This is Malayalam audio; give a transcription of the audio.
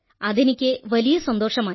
അതെനിക്കു വലിയ സന്തോഷമായി